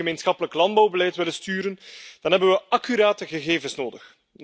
Als we het gemeenschappelijk landbouwbeleid willen sturen, dan hebben we accurate gegevens nodig.